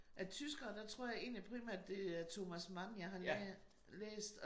Af tyskere der tror jeg egentlig primært det er Thomas Mann jeg har lær læst